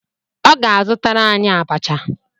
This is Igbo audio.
Ọ ga-azụtara anyị abacha.